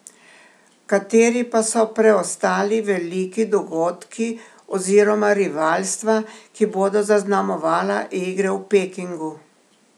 Kateri pa so preostali veliki dogodki oziroma rivalstva, ki bodo zaznamovala igre v Pekingu?